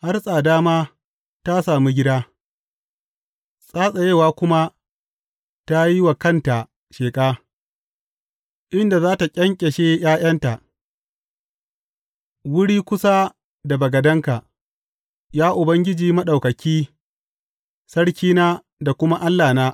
Har tsada ma ta sami gida, tsatsewa kuma ta yi wa kanta sheƙa, inda za tă ƙyanƙyashe ’ya’yanta, wuri kusa da bagadenka, Ya Ubangiji Maɗaukaki, Sarkina da kuma Allahna.